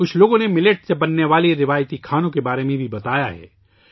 کچھ لوگوں نے موٹے اناج سے بننے والے روایتی پکوانوں کے بارے میں بھی بتایا ہے